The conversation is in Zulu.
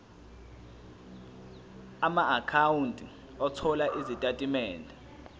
amaakhawunti othola izitatimende